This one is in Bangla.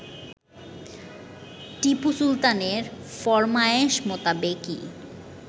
টিপু সুলতানের ফরমায়েশ মোতাবেকই